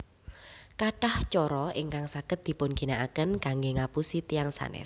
Kathah cara ingkang saged dipun ginakaken kanggé ngapusi tiyang sanés